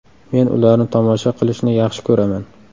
Men ularni tomosha qilishni yaxshi ko‘raman.